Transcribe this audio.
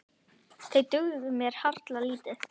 Þeir dugðu mér harla lítið.